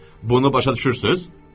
Bunu başa düşürsünüz?